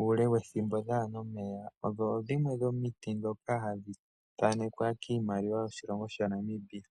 uule wethimbo dhaana omeya, odho dhimwe dhomiti ndhoka hadhi thaanekwa kiimaliwa yoshilongo shaNamibia.